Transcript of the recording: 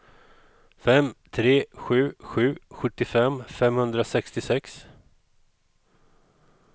fem tre sju sju sjuttiofem femhundrasextiosex